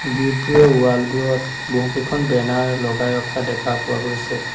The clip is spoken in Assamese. গেট বোৰৰ ৱাল বোৰত বহুত কেইখন বেনাৰ লগাই ৰখা দেখা গৈছে।